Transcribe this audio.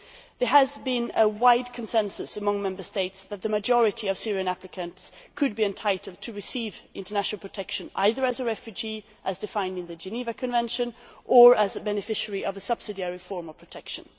There has been a wide consensus among Member States that the majority of Syrian applicants could be entitled to receive international protection, either as a refugee as defined in the Geneva Convention, or as a beneficiary of a subsidiary form of protection.